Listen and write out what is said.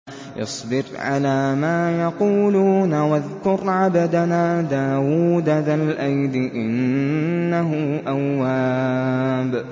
اصْبِرْ عَلَىٰ مَا يَقُولُونَ وَاذْكُرْ عَبْدَنَا دَاوُودَ ذَا الْأَيْدِ ۖ إِنَّهُ أَوَّابٌ